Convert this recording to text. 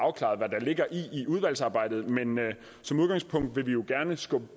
i udvalgsarbejdet men men som udgangspunkt vil vi jo gerne skubbe